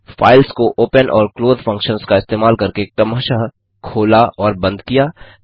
files को open और close functions का इस्तेमाल करके क्रमशः खोला और बंद किया